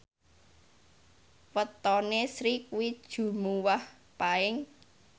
wetone Sri kuwi Jumuwah Paing